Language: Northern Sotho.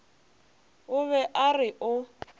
o be a re o